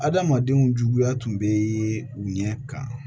Adamadenw juguya tun bɛ u ɲɛ kan